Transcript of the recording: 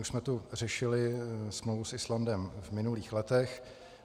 Už jsme tu řešili smlouvu s Islandem v minulých letech.